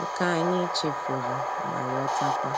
nke ànyị̀ chèfùrù mà yotakwa.